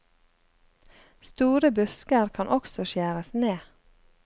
Store busker kan også skjæres ned.